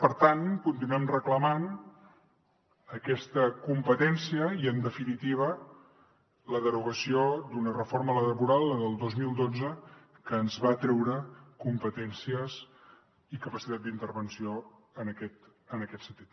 per tant continuem reclamant aquesta competència i en definitiva la derogació d’una reforma laboral la del dos mil dotze que ens va treure competències i capacitat d’intervenció en aquest sentit